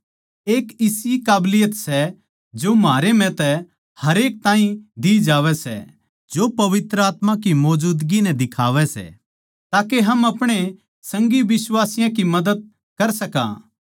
एक इसी काबलियत सै जो म्हारे म्ह तै हरेक ताहीं दी जावै सै जो पवित्र आत्मा की मौजूदगी नै दिखावै सै ताके हम आपणे संगी बिश्वासियाँ मदद कर सका सै